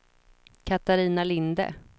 Catarina Linde